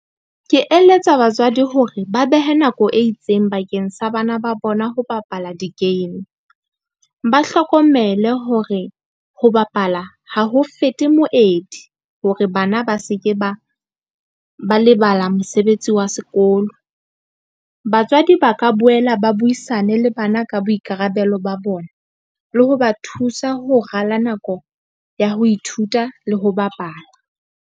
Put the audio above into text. Ke eletsa batswadi hore ba behe nako e itseng bakeng sa bana ba bona. Ho bapala di-game, ba hlokomele hore ho bapala ha ho fete moedi hore bana ba seke ba lebala mosebetsi wa sekolo. Batswadi ba ka boela ba buisane le bana ka boikarabelo ba bona, le ho ba thusa ho rala nako ya ho ithuta le ho bapala.